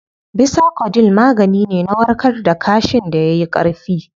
Bisacodyl magani ne na warkar da kaashin da yayi Ƙarfi